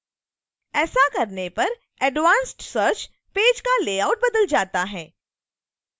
ऐसा करने पर advanced search पेज का लेआउट बदल जाता है